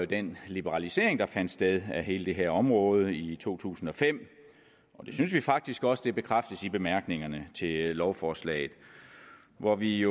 den liberalisering der fandt sted af hele det her område i to tusind og fem og det synes vi faktisk også bekræftes i bemærkningerne til lovforslaget hvor vi